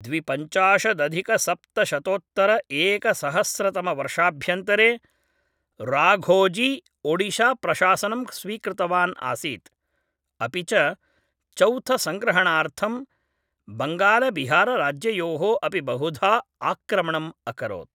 द्विपञ्चाशदधिकसप्तशतोत्तरएकसहस्रतमवर्षाभ्यन्तरे राघोजी ओडिशाप्रशासनं स्वीकृतवान् आसीत्, अपि च चौथसंग्रहणार्थं बङ्गालबिहारराज्ययोः अपि बहुधा आक्रमणम् अकरोत्।